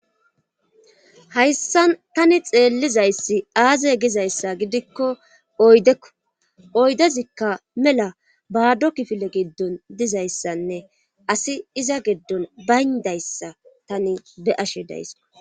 hayssan tani xeellizayssi aaze gizayssa gidikko oydekko oydezikka mela baado kifile giddon dizayssanne asi iza giddon baynadayssa tani be7ashe dayskko.